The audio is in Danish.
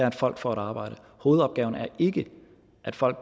at folk får et arbejde hovedopgaven er ikke at folk